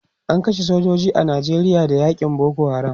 an kashe sojoji a Nijeria Da yakin Boko haram